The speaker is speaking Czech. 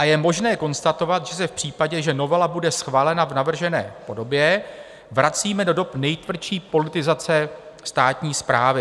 A je možné konstatovat, že se v případě, že novela bude schválena v navržené podobě, vracíme do dob nejtvrdší politizace státní správy."